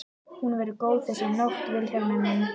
Hún verður góð þessi nótt Vilhjálmur minn.